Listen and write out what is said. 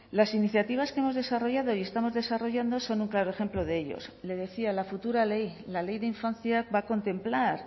las iniciativas que hemos desarrollado y estamos desarrollando son un claro ejemplo de ellos le decía la futura ley la ley de infancia va a contemplar